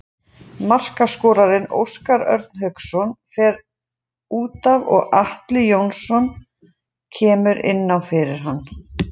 Markaskorarinn Óskar Örn Hauksson fer útaf og Atli Jóhannsson kemur inn fyrir hann.